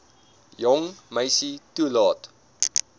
jong meisie toelaat